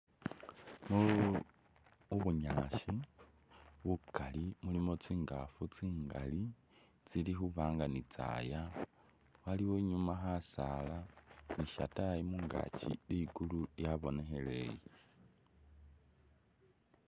Mu.. mubunyaasi bukali mulimo tsingaafu tsingali tsili khuba'nga ni tsaya, waliyo nyuma khasaala ni shatayi ligulu lyabonekheleye